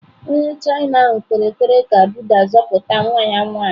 Onye China ahụ kpere ekpere ka Buddha zọpụta nwa ya nwanyị.